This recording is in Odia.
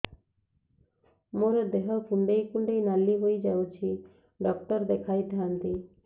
ମୋର ଦେହ କୁଣ୍ଡେଇ କୁଣ୍ଡେଇ ନାଲି ହୋଇଯାଉଛି ଡକ୍ଟର ଦେଖାଇ ଥାଆନ୍ତି